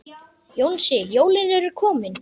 Jónsi, jólin eru komin.